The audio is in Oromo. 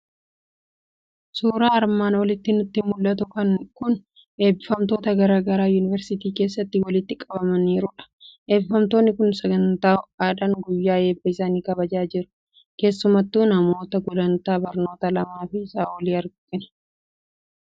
Suuraan armaan olitti nutti mul'atu kun eebbifamtoota garaa garaa yuuniversiitii keessatti walitti qabamaniirudha. Eebbifamtoonni kun sagantaa ho'aadhaan guyyaa eebba isaanii kabajachaa jiru. Keessumattuu namoota gulantaa barnoota lamaa fi isaa olii argina.